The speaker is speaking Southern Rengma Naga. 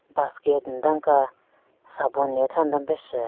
basket nden ka sabun ne tha nden pe shyu.